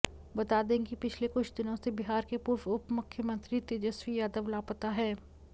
बता दें कि पिछले कुछ दिनों से बिहार के पूर्व उपमुख्यमंत्री तेजस्वी यादव लापता हैं